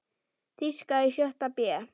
Þýska í sjötta bé.